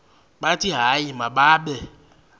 bathi hayi mababe